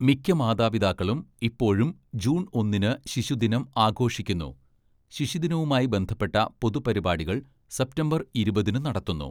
മിക്ക മാതാപിതാക്കളും ഇപ്പോഴും ജൂൺ ഒന്നിന്‌ ശിശുദിനം ആഘോഷിക്കുന്നു, ശിശുദിനവുമായി ബന്ധപ്പെട്ട പൊതു പരിപാടികൾ സെപ്റ്റംബർ ഇരുപതിന്‌ നടത്തുന്നു.